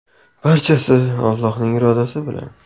Barchasi Allohning irodasi bilan.